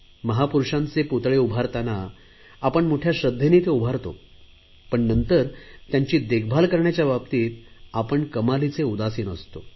महापुरुषांचे पुतळे उभारतांना आपण मोठया श्रध्देने ते उभारतो पण नंतर त्यांची देखभाल करण्याच्या बाबतीत मात्र आपण कमालीची उदासीन असतो